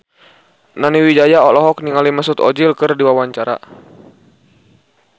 Nani Wijaya olohok ningali Mesut Ozil keur diwawancara